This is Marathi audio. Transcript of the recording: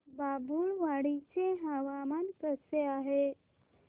बाभुळवाडी चे हवामान कसे आहे